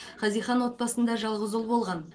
хазихан отбасында жалғыз ұл болған